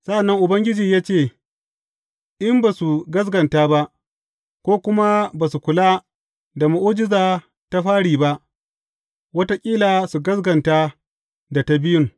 Sa’an nan Ubangiji ya ce, In ba su gaskata ba, ko kuma ba su kula da mu’ujiza ta fari ba, wataƙila su gaskata da ta biyun.